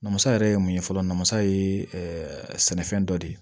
Namasa yɛrɛ ye mun ye fɔlɔ namasa ye sɛnɛfɛn dɔ de ye